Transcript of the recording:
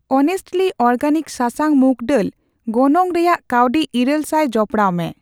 honestly organic ᱥᱟᱥᱟᱝ ᱢᱩᱠ ᱰᱟᱹᱞ ᱜᱚᱱᱚᱝ ᱨᱮᱭᱟᱜ ᱠᱟᱣᱰᱤ ᱤᱨᱟᱹᱞ ᱥᱟᱭ ᱡᱚᱯᱚᱲᱟᱣᱢᱮ